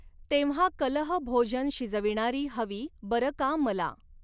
तेव्हा कलहभोजन शिजविणारी हवी बर का मला